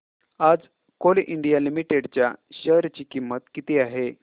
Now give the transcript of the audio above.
आज Coal India Limited च्या share ची किंमत किती आहे